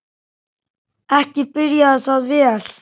Ekki byrjaði það vel.